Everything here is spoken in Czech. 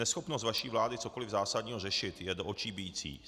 Neschopnost vaší vlády cokoliv zásadního řešit, je do očí bijící.